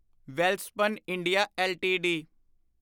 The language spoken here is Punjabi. Welspun India LTD